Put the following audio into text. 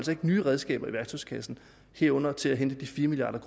nye redskaber i værktøjskassen herunder til at hente de fire milliard